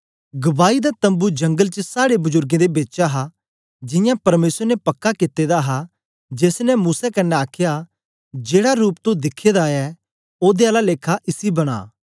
गवाई दा तम्बू जंगल च साड़े बजुरगें दे बेच हा जियां परमेसर ने पक्का कित्ते दा हा जेस ने मूसा कन्ने आखया जेड़ा रूप तो दिखे दा ऐ ओदे आला लेखा इसी बना